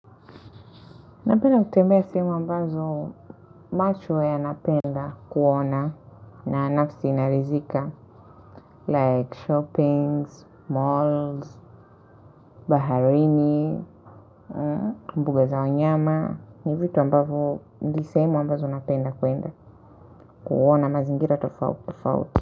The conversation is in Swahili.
Napenda kutembea sehemu ambazo macho yanapenda kuona na nafsi naridhika like shoppings, malls, baharini, mbuga za wanyama, ni vitu ambavyo ndi sehemu ambazo napenda kuenda kuona mazingira tofauti.